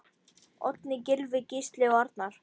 Oddný, Gylfi, Gísli og Arnar.